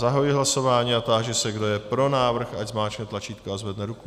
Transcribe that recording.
Zahajuji hlasování a táži se, kdo je pro návrh, ať zmáčkne tlačítko a zvedne ruku.